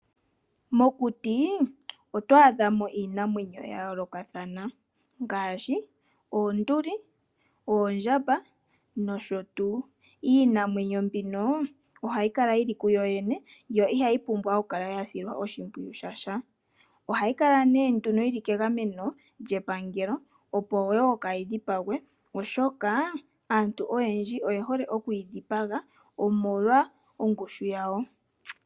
Mokutii, oto adha mo iinamwenyo ya yoolokathana ngaashi oonduli, oondjamba nosho tuu. Iinamwenyo mbino ohayi kala yi li ku yo yene, yo iha yi pumbwa okukala ya silwa oshimpwiyu shasha. Ohayi kala nee nduno yi li kegameno lyepangelo opo kaayi dhipagwe, oshoka aantu oyendji oye hole okuyi dhipaga omolwa ongushu yayo.